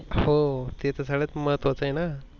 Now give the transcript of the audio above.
हो ते तर सगळ्यात महत्वाच आहे ना?